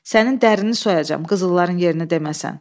Sənin dərinni soyacam, qızılların yerini deməsən.